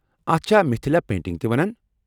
اتھ چھا مِتِھلا پینٹنگ تہِ ونان؟